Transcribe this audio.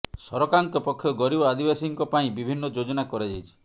ସରକାରଙ୍କ ପକ୍ଷରୁ ଗରିବ ଆଦିବାସୀଙ୍କ ପାଇଁ ବିଭିନ୍ନ ଯୋଜନା କରାଯାଇଛି